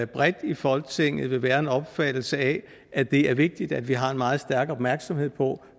bredt i folketinget vil være en opfattelse af at det er vigtigt at vi har meget stærk opmærksomhed på